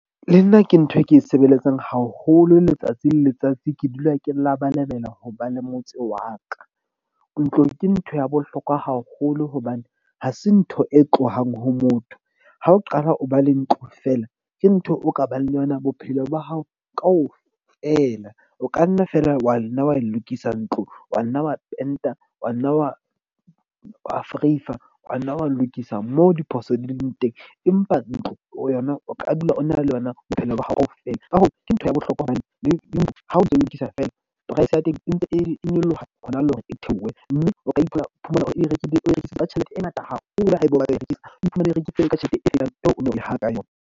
Le nna ke ntho e ke e sebeletsang haholo letsatsi le letsatsi. Ke dula ke labalabela ho ba le motse wa ka. Ntlo ke ntho ya bohlokwa haholo. Hobane ha se ntho e tlohang ho motho. Ha o qala o ba le ntlo feela, ke ntho o ka bang le yona bophelo ba hao kaofela. O ka nna feela wa nna wa e lokisa ntlo, wa nna wa penta, wa nna wa vereifa, wa nna wa lokisa mo diphoso di leng teng. Empa ntlo o yona o ka dula o na le yona bophelo ba hao kaofela. Ka hoo, ke ntho ya bohlokwa hobane le ha o ntso lokisa fela, price ya teng e ntse e nyoloha hona le hore e theohe. Mme o ka ithola, o iphumana o e rekileng, o rekisetsa tjhelete e ngata haholo haeba o batla ho e rekisa, o iphumane o rekile ka yona.